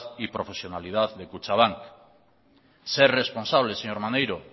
y profesionalidad de kutxabank ser responsable señor maneiro